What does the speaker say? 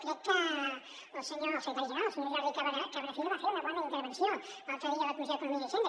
crec que el secretari general el senyor jordi cabrafiga va fer una bona intervenció l’altre dia a la comissió d’economia i hisen·da